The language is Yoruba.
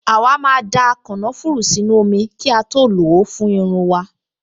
Àwa máa da kànáfùrù sínú omi kí a tó lò ó fún irun wa